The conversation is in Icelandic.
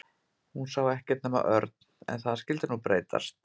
Hún sá ekkert nema Örn. En það skyldi nú breytast.